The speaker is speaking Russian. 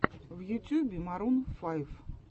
в ютюбе марун файв